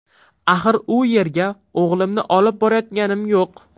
Axir u yerga o‘g‘limni olib borayotganim yo‘q.